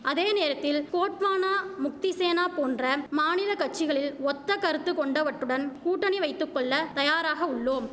அதேநேரத்தில் கோட்வானா முக்திசேனா போன்றம் மாநில கட்சிகளில் ஒத்த கருத்து கொண்டவட்டுடன் கூட்டணி வைத்து கொள்ள தயாராக உள்ளோம்